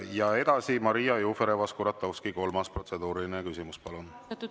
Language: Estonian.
Ja edasi Maria Jufereva-Skuratovski, kolmas protseduuriline küsimus, palun!